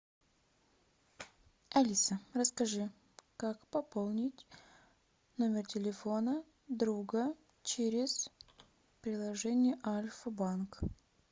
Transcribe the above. алиса расскажи как пополнить номер телефона друга через приложение альфа банк